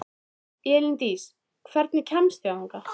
Elíndís, hvernig kemst ég þangað?